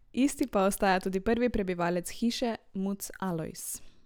Isti pa ostaja tudi prvi prebivalec hiše, muc Alojz.